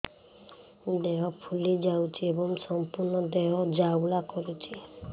ଦେହ ଫୁଲି ଯାଉଛି ଏବଂ ସମ୍ପୂର୍ଣ୍ଣ ଦେହ ଜ୍ୱାଳା କରୁଛି